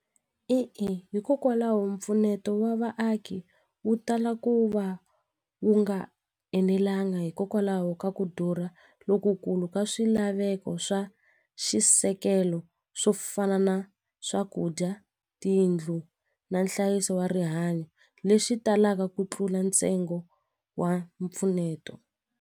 E-e, hikokwalaho mpfuneto wa vaaki wu tala ku va wu nga enelangi hikokwalaho ka ku dura lokukulu ka swilaveko swa xisekelo swo fana na swakudya tiyindlu na nhlayiso wa rihanyo lexi talaka ku tlula ntsengo wa mpfuneto.